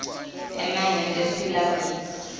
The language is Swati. emmangweni lesiphila kuwo